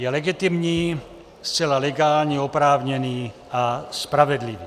Je legitimní, zcela legální, oprávněný a spravedlivý.